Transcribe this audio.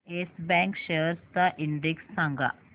yes Bank shares चा index सांगा